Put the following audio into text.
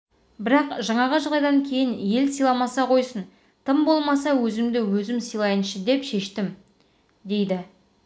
бірақ жаңағы жағдайдан кейін ел сыйламаса қойсын тым болмаса өзімді өзім сыйлайыншы деп шештім дейді